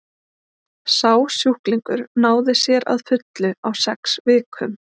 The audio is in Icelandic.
sá sjúklingur náði sér að fullu á sex vikum